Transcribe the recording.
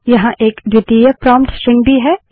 यहाँ एक द्वितीयक प्रोम्प्ट स्ट्रिंग भी है